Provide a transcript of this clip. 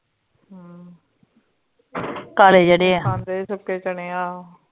ਅਮ ਕਾਲੇ ਜੇਡੇ ਆ ਖਾਂਦੇ ਭੀ ਸੁੱਖੇ ਚਨੇ ਆ